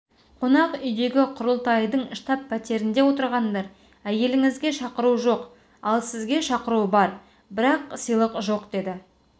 қонақ үйдегі құрылтайдың штаб-пәтерінде отырғандар әйеліңізге шақыру жоқ ал сізге шақыру бар бірақ сыйлық жоқ деді